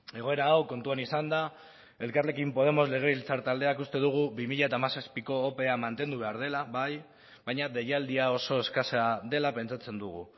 egoera hau kontuan izanda elkarrekin podemos legebiltzar taldeak uste dugu bi mila hamazazpiko opea mantendu behar dela bai baina deialdia oso eskasa dela pentsatzen dugu